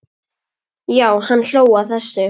Já, hann hló að þessu!